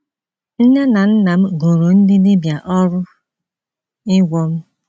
Nne na nna m goro ndị dibịa ọrụ ịgwọ m.